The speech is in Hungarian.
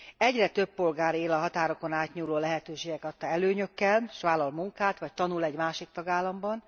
Egyre több polgár él a határokon átnyúló lehetőségek adta előnyökkel, és vállal munkát vagy tanul egy másik tagállamban.